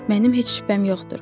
Mənim heç şübhəm yoxdur.